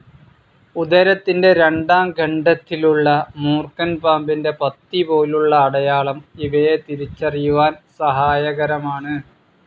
ഉദരത്തിൻ്റെ രണ്ടാം ഖണ്ഡത്തിലുള്ള മൂർക്കൻപാമ്പിൻ്റെ പത്തി പോലുള്ള അടയാളം ഇവയെതിരിച്ചറിയുവാൻ സഹായകരമാണ്.